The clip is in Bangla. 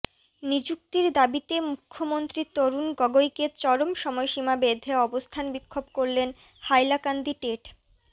নিযুক্তির দাবিতে মুখ্যমন্ত্রী তরুণ গগৈকে চরম সময়সীমা বেধে অবস্থান বিক্ষোভ করলেন হাইলাকান্দি টেট